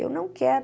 Eu não quero.